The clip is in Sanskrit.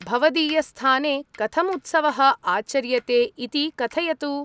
भवदीयस्थाने कथम् उत्सवः आचर्यते इति कथयतु।